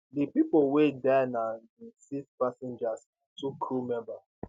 di pipo wey die na di six passengers and two crew member